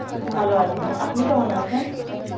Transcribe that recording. ভালো আছি আপনি কেমন আছেন?